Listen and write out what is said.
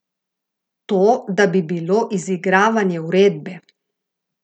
To da bi bilo izigravanje uredbe.